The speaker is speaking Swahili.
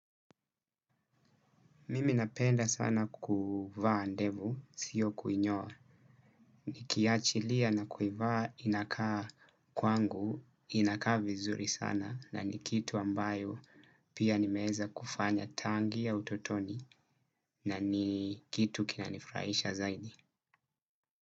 Mimi napenda sana kuvaa ndevu, sio kuinyoa. Nikiachilia na kuivaa inakaa kwangu, inakaa vizuri sana na ni kitu ambayo pia nimeweza kufanya tangia utotoni na ni kitu kinanifurahisha zaidi.